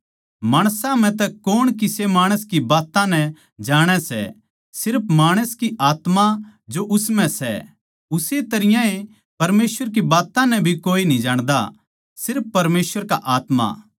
माणसां म्ह तै कौण किसे माणस की बात्तां नै जाणै सै सिर्फ माणस की आत्मा जो उस म्ह सै उस्से तरियां ए परमेसवर की बात्तां नै भी कोए न्ही जाण्दा सिर्फ परमेसवर की आत्मा